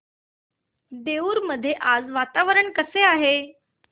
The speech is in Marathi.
देऊर मध्ये आज वातावरण कसे आहे